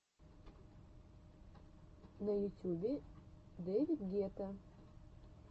на ютюбе дэвид гетта